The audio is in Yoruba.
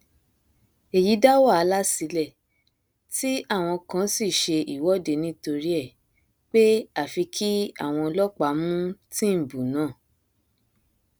èyí dá wàhálà sílẹ tí àwọn kan sì ṣe ìwọde nítorí ẹ pé àfi kí àwọn ọlọpàá mú tìǹbù náà